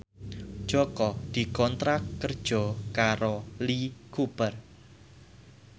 Jaka dikontrak kerja karo Lee Cooper